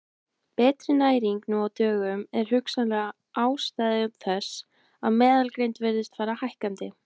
Betri næring nú á dögum er hugsanleg ástæða þess að meðalgreind virðist fara hækkandi.